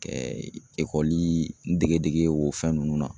Kɛ dege dege o fɛn nunnu na.